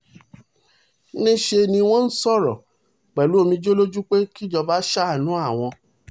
níṣẹ́ ni wọ́n ń sọ̀rọ̀ pẹ̀lú omijé lójú pé kíjọba ṣàánú àwọn